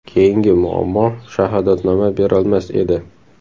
Keyingi muammo, shahodatnoma berolmas edi.